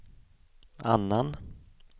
annan